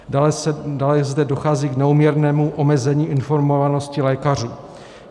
Dále zde dochází k neúměrnému omezení informovanosti lékařů.